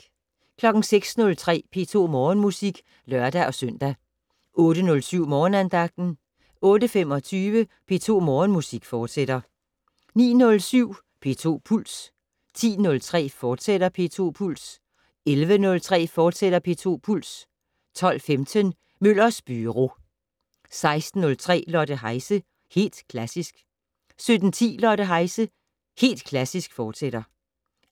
06:03: P2 Morgenmusik (lør-søn) 08:07: Morgenandagten 08:25: P2 Morgenmusik, fortsat 09:07: P2 Puls 10:03: P2 Puls, fortsat 11:03: P2 Puls, fortsat 12:15: Møllers Byro 16:03: Lotte Heise - Helt Klassisk 17:10: Lotte Heise - Helt Klassisk, fortsat